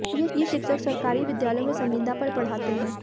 ये शिक्षक सरकारी विद्यालयों में संविदा पर पढ़ाते हैं